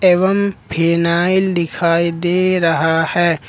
एवं फिनाईल दिखाई दे रहा है।